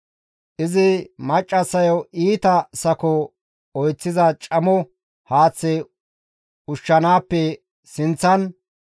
Izi maccassayo iita sako oyththiza camo haaththaa izo ushshanaappe sinththan,